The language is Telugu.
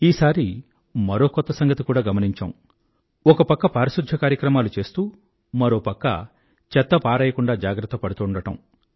ఈసారి మరో కొత్త సంగతి కూడా గమనించాం ఒక పక్క పారిశుధ్య కార్యక్రమాలు చేస్తూ మరో పక్క చెత్త పారేయకుండా జాగ్రత్త పడుతూండడం